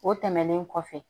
O tɛmɛnen kɔfɛ